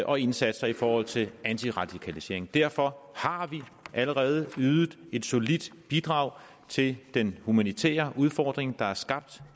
og indsatser i forhold til antiradikalisering derfor har vi allerede ydet et solidt bidrag til den humanitære udfordring der er skabt